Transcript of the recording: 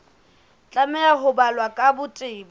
tlameha ho balwa ka botebo